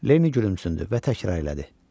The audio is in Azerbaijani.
Leni gülümsündü və təkrar elədi.